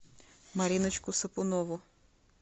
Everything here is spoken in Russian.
мариночку сапунову